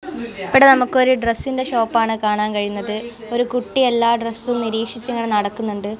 ഇവിടെ നമ്മക്കൊരു ഡ്രെസ്സിന്റെ ഷോപ്പാണ് കാണാൻ കഴിയുന്നത് ഒരു കുട്ടി എല്ലാം ഡ്രെസ്സും നിരീക്ഷിച്ചിങ്ങനെ നടക്കുന്നുണ്ട്.